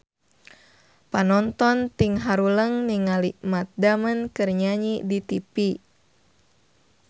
Panonton ting haruleng ningali Matt Damon keur nyanyi di tipi